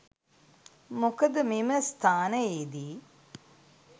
මොකද මෙම ස්ථානයේ දී